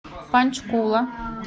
панчкула